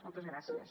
moltes gràcies